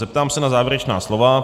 Zeptám se na závěrečná slova.